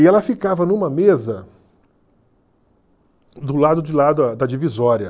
E ela ficava numa mesa do lado de lá da da divisória.